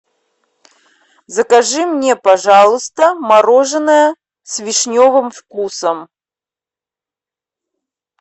закажи мне пожалуйста мороженое с вишневым вкусом